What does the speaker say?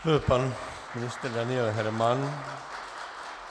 To byl pan ministr Daniel Herman.